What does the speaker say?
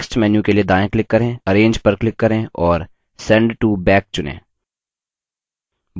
context menu के लिए दायाँ click करें arrange पर click करें और send to back चुनें